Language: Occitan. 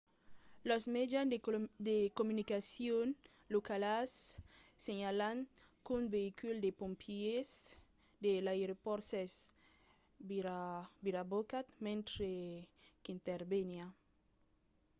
los mejans de comunicacion locals senhalan qu'un veïcul de pompièrs de l'aeropòrt s'es virabocat mentre qu'interveniá